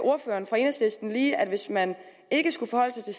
ordføreren fra enhedslisten lige at hvis man ikke skulle forholde sig til